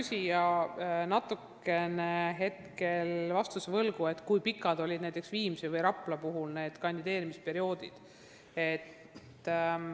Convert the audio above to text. Ma jään hetkel vastuse võlgu, kui pikad olid näiteks kandideerimisperioodid Viimsis või Raplas.